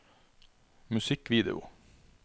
musikkvideo